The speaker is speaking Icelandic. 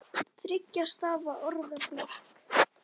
Þriggja stafa orð fyrir blek?